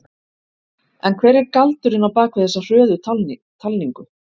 En hver er galdurinn á bakvið þessi hröðu talningu?